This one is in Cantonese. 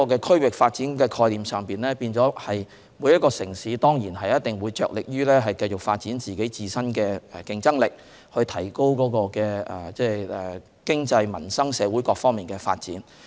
區域發展的概念，就是每個城市着力繼續發展自身的競爭力，提高經濟、民生、社會各方面的發展。